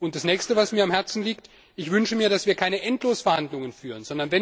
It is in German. Das Nächste, was mir am Herzen liegt Ich wünsche mir, dass wir keine Endlosverhandlungen führen.